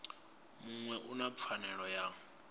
muṅwe u na pfanelo ya